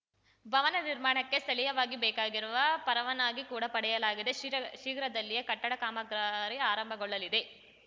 ಭವನ ನಿರ್ಮಾಣಕ್ಕೆ ಸ್ಥಳೀಯವಾಗಿ ಬೇಕಾಗಿರುವ ಪರವಾನಗಿ ಕೂಡ ಪಡೆಯಲಾಗಿದೆ ಶೀರ್ಘ ಶೀಘ್ರದಲ್ಲಿಯೇ ಕಟ್ಟಡ ಕಾಮಗಾರಿ ಆರಂಭಗೊಳ್ಳಲಿದೆ